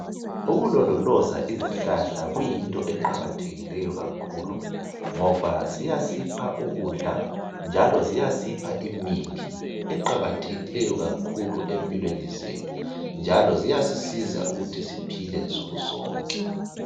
Ukulondoloza izihlahla kuyinto eqakathekisa kakhulu ngoba ziyasipha ukudla njalo ziyasipha imithi eqakathekisa kakhulu empilweni zethu njalo ziyasisiza ukuthi siphile nsuku zonke